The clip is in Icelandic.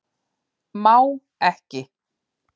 Má ekki